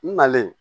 N nalen